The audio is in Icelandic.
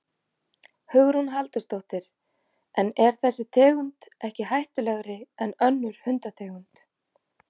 Hugrún Halldórsdóttir: En er þessi tegund ekki hættulegri en önnur hundategund?